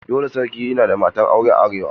Dole sarki ya na da matar aure a arewa.